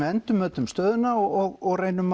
endurmetum stöðuna og reynum